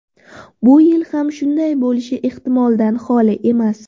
Bu yil ham shunday bo‘lishi ehtimoldan holi emas.